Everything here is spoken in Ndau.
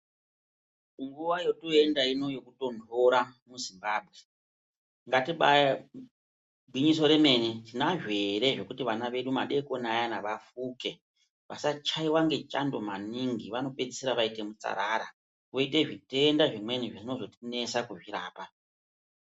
Nguwa yotoenda ino yekutonhora muZimbabwe. Gwinyiso remene tinazvo ere zvekuti vana vedu madeikoni ayana vafume vasachaiwa ngechando maningi vanopedzisira vaita mutsara voita zvitenda zvimweni zvinozotinetsa kurapa.